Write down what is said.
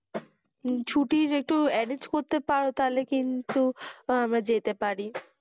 ছুটির একটু arrenge করতে পারো তাহলে কিন্তু আমরা যেতে পারি,